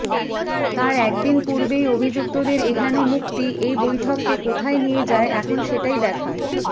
তার একদিন পূর্বেই অভিযুক্তদের এহেন মুক্তি এই বৈঠককে কোথায় নিয়ে যায় এখন সেটিই দেখার